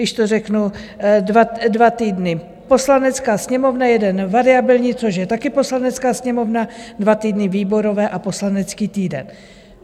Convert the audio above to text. Když to řeknu, dva týdny Poslanecká sněmovna, jeden variabilní, což je také Poslanecká sněmovna, dva týdny výborové a poslanecký týden.